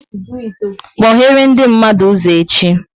Kpoghere ndị mmadụ ụzọ echi!